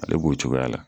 Ale b'o cogoya la